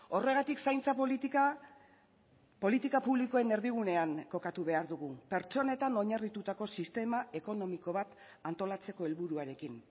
horregatik zaintza politika politika publikoen erdigunean kokatu behar dugu pertsonetan oinarritutako sistema ekonomiko bat antolatzeko helburuarekin